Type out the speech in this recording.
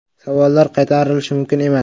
Savollar qaytarilishi mumkin emas.